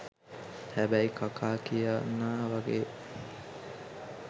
හැබැයි කකා කියන්නා වගේ